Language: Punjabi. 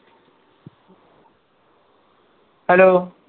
ਹੈਲੋ